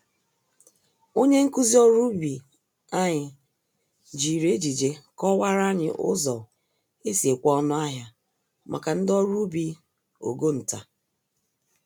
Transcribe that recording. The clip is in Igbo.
Onye nkụzi ọrụ ubi anyị, jiri ejije kọwara anyị ụzọ esi ekwe-ọnụ-ahịa, màkà ndi ọrụ ubi ogo ntà.